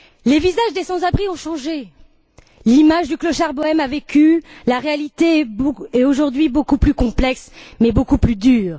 Les visages des sans abri ont changé, l'image du clochard bohême a vécu, la réalité est aujourd'hui beaucoup plus complexe mais beaucoup plus dure.